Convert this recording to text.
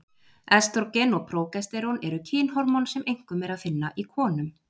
Estrógen og prógesterón eru kynhormón sem einkum er að finna í konum.